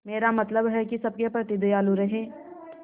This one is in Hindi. मेरा मतलब है कि सबके प्रति दयालु रहें